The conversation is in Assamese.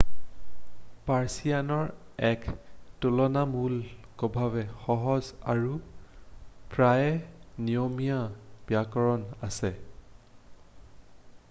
পাৰ্ছিয়ানৰ এক তুলনামূলকভাৱে সহজ আৰু প্ৰায়েই নিয়মীয়া ব্যাকৰণ আছে৷